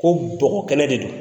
Ko bɔgɔ kɛnɛ de do.